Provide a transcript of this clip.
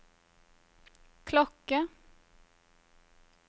klokke